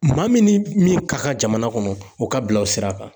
Maa min ni min ka kan ka jamana kɔnɔ o ka bila o sira kan